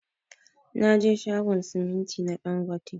Naje shagon siminti na ɗangote.